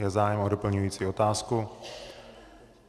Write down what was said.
Je zájem o doplňující otázku?